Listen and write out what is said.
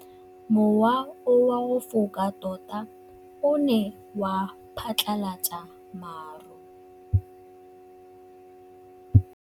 Mowa o wa go foka tota o ne wa phatlalatsa maru.